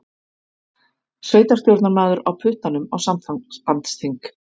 Sveitarstjórnarmaður á puttanum á sambandsþing